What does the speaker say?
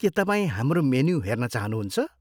के तपाईँ हाम्रो मेनु हेर्न चाहनुहुन्छ?